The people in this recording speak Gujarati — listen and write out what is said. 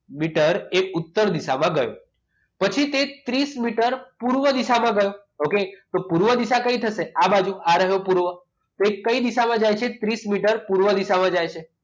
વીસ મીટર એ ઉત્તર દિશામાં ગયો પછી તે ત્રીસ મીટર પૂર્વ દિશામાં ગયો okay તો પૂર્વ દિશા કઈ થશે આ બાજુ આ રહ્યો પૂર્વ તો એ કઈ દિશામાં જાય છે ત્રીસ મીટર પૂર્વ દિશામાં જાય છે